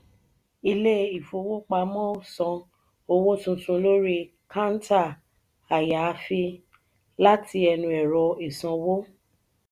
ilé ìfowópamọ́ ò san owó tuntun lórí káńtà ayaafii láti ẹnu ẹrọ isanwo.